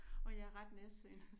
Og jeg er ret nærsynet så